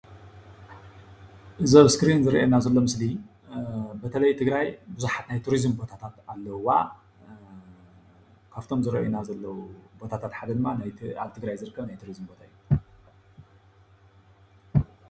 እዚ ኣብ እስክሪን ዝረአየና ዘሎ ምስሊ በተላይ ትግራይ ቡዙሓት ናይ ቱሪዝም ቦታታት ኣለዉዋ፡፡ ካብቶም ዝረአዩና ዘለዉ ቦታታት ሓደ ድማ ኣብ ትግራይ ዝርከብ ናይ ቱሪዝመ ቦታ እዩ፡፡